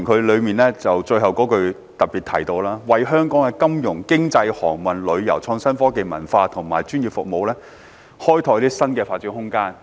議案最後一句提到"為香港的金融、經貿、航運、旅遊、創新科技、文化及專業服務業開拓新的發展空間。